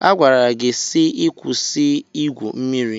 A gwara gị si ịkwụsị igwu mmiri.